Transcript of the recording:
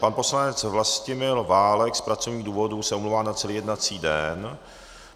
Pan poslanec Vlastimil Válek z pracovních důvodů se omlouvá na celý jednací den.